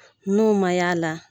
N'o ma y' ala la.